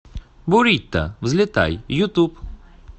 бурито взлетай ютуб